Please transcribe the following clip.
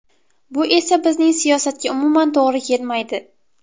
Bu esa bizning siyosatga umuman to‘g‘ri kelmaydi.